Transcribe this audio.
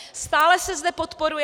Stále se zde podporuje...